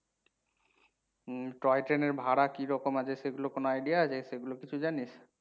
উম toy ট্রেনের ভাড়া কিরকম আছে সেগুলো কোনও idea আছে? সেগুলো কিছু জানিস?